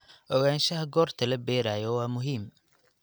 Ogaanshaha goorta la beerayo waa muhiim.